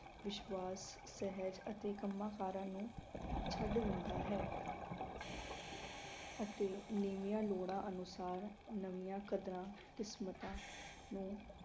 ਵਿਸ਼ਵਾਸ, ਸਹਿਜ ਅਤੇ ਕੰਮਾਂ ਕਾਰਾਂ ਨੂੰ ਛੱਡ ਦਿੰਦਾ ਹੈ ਅਤੇ ਨਵੀਆਂ ਲੋੜਾਂ ਅਨੁਸਾਰ ਨਵੀਆਂ ਕਦਰਾਂ ਕਿਸਮਤਾਂ ਨੂੰ